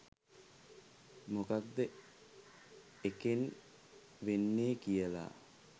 මොකක්ද එකෙන් වෙන්නේ කියලා